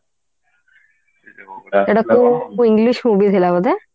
english movie ଥିଲା ବୋଧେ